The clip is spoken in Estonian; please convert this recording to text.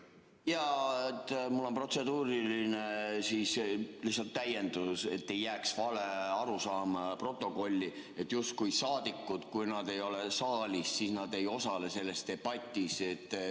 Jaa, mul on protseduuriline täiendus lihtsalt, et ei jääks vale arusaama protokolli, et kui saadikud ei ole saalis, siis nad ei osale selles debatis.